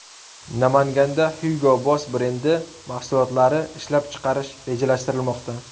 Namanganda Hugo Boss brendi mahsulotlari ishlab chiqarish rejalashtirilmoqda.